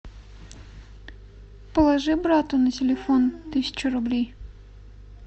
положи брату на телефон тысячу рублей